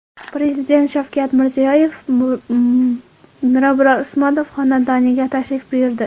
Prezident Shavkat Mirziyoyev Mirabror Usmonov xonadoniga tashrif buyurdi.